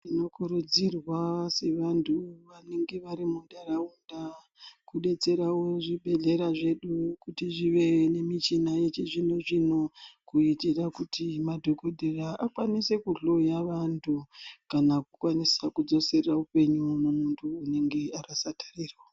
Tinokurudzirwa sevantu vanenge vari muntaraunda kudetserawo zvibhedhlera zvedu kuti zvive nemichina yevhizvino zvino kuitira kuti madhokodheya akwanise kujloya vantu kana kukwanise kudzosa upenyu hwemuntu unenge arasa tariro..